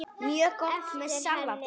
Mjög gott með salati.